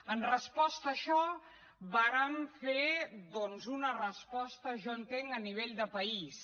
en resposta a això vàrem fer doncs una resposta jo entenc a nivell de país